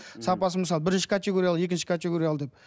сапасы мысалы бірінші категориялы екінші категориялы деп